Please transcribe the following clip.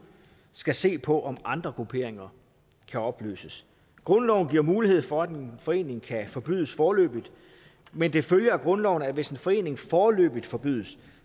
skal se på om andre grupperinger kan opløses grundloven giver mulighed for at en forening kan forbydes foreløbigt men det følger af grundloven at hvis en forening foreløbigt forbydes